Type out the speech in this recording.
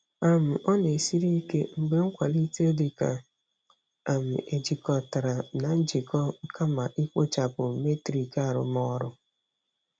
um Ọ na-esiri ike mgbe nkwalite dị ka um ejikọtara na njikọ kama ikpochapụ metrik arụmọrụ.